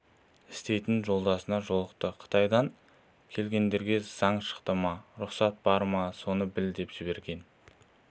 істейтін жолдасына жолықты қытайдан келгендерге заң шықты ма рұқсат бар ма соны біл деп жіберген